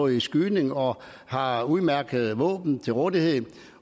i skydning og har udmærkede våben til rådighed